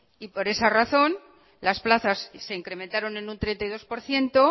y por esa razón las plazas se incrementaron en un treinta y dos por ciento